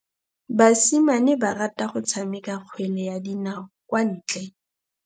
Basimane ba rata go tshameka kgwele ya dinaô kwa ntle.